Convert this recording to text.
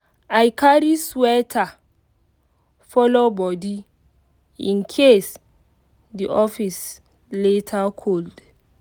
i carry sweater follow body in case the office later cold.